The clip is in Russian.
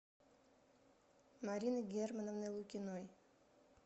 марины германовны лукиной